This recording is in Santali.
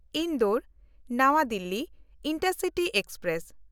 ᱤᱱᱫᱳᱨ-ᱱᱟᱣᱟ ᱫᱤᱞᱞᱤ ᱤᱱᱴᱟᱨᱥᱤᱴᱤ ᱮᱠᱥᱯᱨᱮᱥ